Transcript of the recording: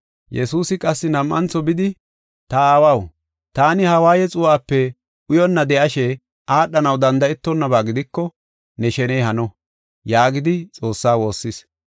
Yesuusi qassi nam7antho bidi, “Ta Aawaw, taani ha waaye xuu7ape uyonna de7ishe aadhanaw danda7etonnaba gidiko ne sheney hano” yaagidi Xoossaa woossis.